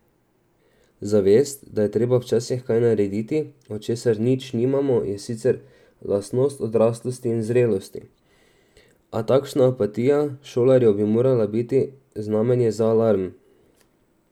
Zavest, da je treba včasih kaj narediti, od česar nič nimamo, je sicer lastnost odraslosti in zrelosti, a takšna apatija šolarjev bi morala biti znamenje za alarm.